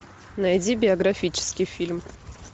найди биографический фильм